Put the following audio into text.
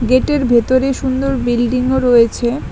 গেটের ভেতরে সুন্দর বিল্ডিংও রয়েছে।